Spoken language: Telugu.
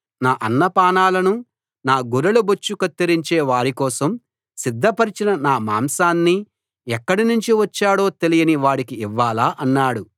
నా అన్నపానాలను నా గొర్రెల బొచ్చు కత్తిరించే వారికోసం సిద్ధపరచిన నా మాంసాన్ని ఎక్కడి నుంచి వచ్చాడో తెలియని వాడికి ఇవ్వాలా అన్నాడు